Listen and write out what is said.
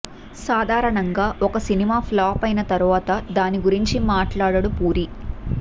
సాధారణంగా ఒక cinema flop అయిన తర్వాత దాని గురించి మాట్లాడడు పూరి